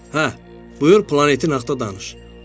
Hə, buyur planetin haqqında danış.